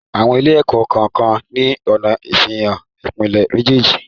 Àwọn ilé-ẹ̀kọ́ kọ́ọ̀kan ni ọna ìsàfihàn ìpele méjèèjì.